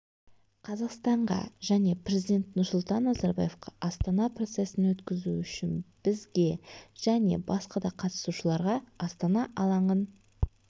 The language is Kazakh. қазақстанға және президент нұрсұлтан назарбаевқа астана процесін өткізу үшін бізге және басқа да қатысушыларға астана алаңын